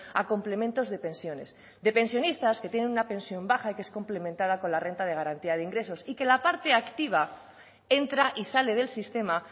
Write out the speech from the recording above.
a complementos de pensiones de pensionistas que tienen una pensión baja que es complementada con la renta de garantía de ingresos y que la parte activa entra y sale del sistema